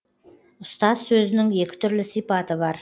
ұстаз сөзінің екі түрлі сипаты бар